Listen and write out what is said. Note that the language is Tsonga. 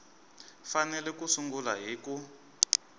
fanele ku sungula hi ku